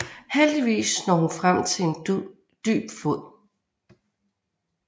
Heldigvis når hun frem til en dyb flod